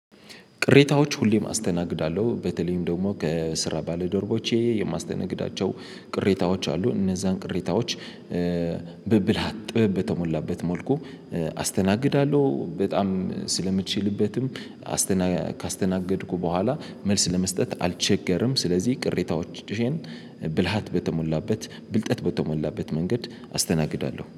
ቅሬታዎች ሁሌም አስተናግዳለሁ በተለይም ደግሞ ከስራ ባለዶርቦቼ የማስተናግዳቸው ቅሬታዎች አሉ እነዛን ቅሬታዎች። ብብልሃት ጥበብ በተሞላበት መልኩ አስተናግዳለሁ። በጣም ስለምችልበትም አስተና ካስተናገድኩ በኋላ መልስ ለመስጠት አልቸገርም። ስለዚህ ቅሬታዎችን ብልሃት በተሞላበት ብልጠት በተሞላበት መንገድ አስተናግዳለሁ